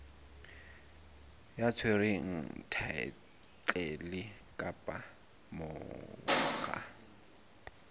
ya tshwereng thaetlele kapa monga